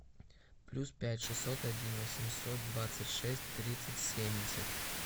плюс пять шестьсот один восемьсот двадцать шесть тридцать семьдесят